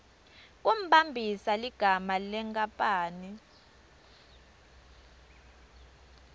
kumbambisa ligama lenkapani